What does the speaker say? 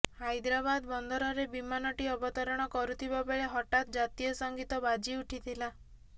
ହାଇଦ୍ରାବାଦ ବନ୍ଦରରେ ବିମାନଟି ଅବତରଣ କରୁଥିବା ବେଳେ ହଠାତ୍ ଜାତୀୟ ସଙ୍ଗୀତ ବାଜି ଉଠିଥିଲା